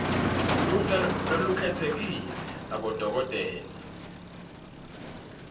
luhla lolukhetsekile lwabodokotela